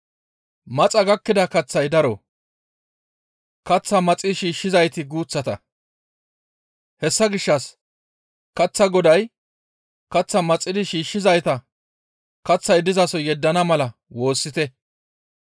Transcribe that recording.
«Maxa gakkida kaththay daro; kaththaa maxi shiishshizayti guuththata; hessa gishshas kaththaa Goday kaththaa maxidi shiishshizayta kaththay dizaso yeddana mala woossite.